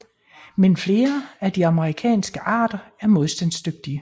Men flere af de amerikanske arter er modstandsdygtige